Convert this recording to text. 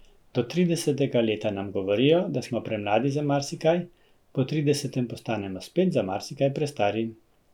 Do tridesetega leta nam govorijo, da smo premladi za marsikaj, po tridesetem postanemo spet za marsikaj prestari.